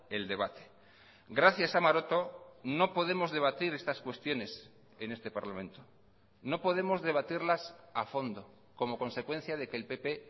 el debate gracias a maroto no podemos debatir estas cuestiones en este parlamento no podemos debatirlas a fondo como consecuencia de que el pp